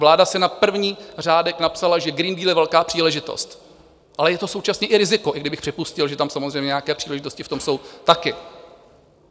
Vláda si na první řádek napsala, že Green Deal je velká příležitost, ale je to současně i riziko - i kdybych připustil, že tam samozřejmě nějaké příležitosti v tom jsou také.